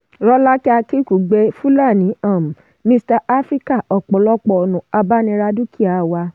rọ́lákẹ́ akinkugbe-filani um mixta africa: ọ̀pọ̀lọpọ̀ ọ̀nà abániradúkìá wà.